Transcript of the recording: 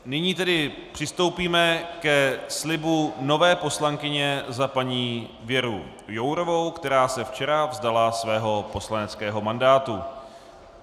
Nyní tedy přistoupíme ke slibu nové poslankyně za paní Věru Jourovou, která se včera vzdala svého poslaneckého mandátu.